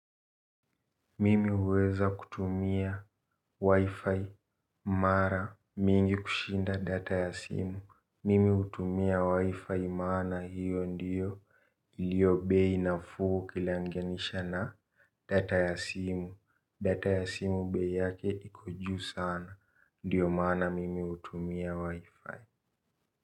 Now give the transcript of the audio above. Mimi huweza kutumia wi-fi mara mingi kushinda data ya simu. Mimi hutumia wi-fi maana hiyo ndiyo iliyobei nafuu ukilanganisha na data ya simu simu bei yake iko juu sana. Ndiyo maana mimi hutumia wi-fi.